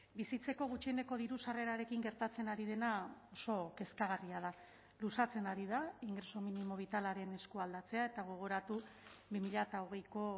bizitzeko gutxieneko diru sarrerarekin gertatzen ari dena oso kezkagarria da luzatzen ari da ingreso minimo bitalaren eskualdatzea eta gogoratu bi mila hogeiko